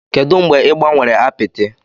Kedu mgbe ị gbanwere apịtị?